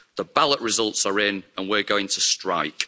The ballot results are in, and we're going to strike.'